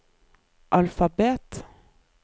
alfabet